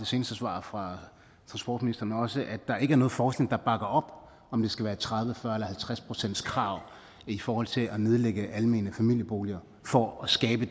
seneste svar fra transportministeren også altså at der ikke er noget forskning der bakker op om det skal være et tredive fyrre eller halvtreds procentskrav i forhold til at nedlægge almene familieboliger for at skabe